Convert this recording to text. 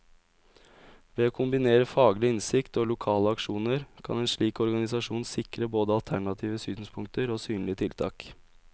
Ved å kombinere faglig innsikt og lokale aksjoner, kan en slik organisasjon sikre både alternative synspunkter og synlige tiltak.